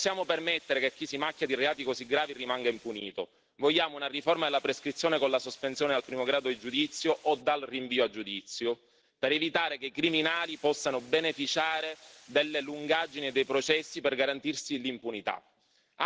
Non possiamo permettere che chi si macchia di reati così gravi rimanga impunito. Vogliamo una riforma della prescrizione con la sospensione al primo grado di giudizio o dal rinvio a giudizio per evitare che i criminali possano beneficiare delle lungaggini dei processi per garantirsi l'impunità.